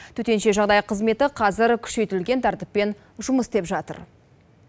төтенше жағдай қызметі қазір күшейтілген тәртіппен жұмыс істеп жатыр